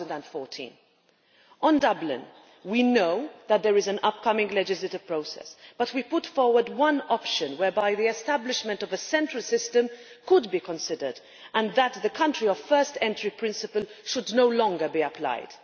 2014. On Dublin, we know that there is an upcoming legislative process, but we have put forward one option whereby the establishment of a central system could be considered and the country of first entry' principle should no longer be applied.